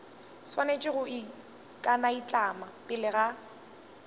swanetše go ikanaitlama pele ga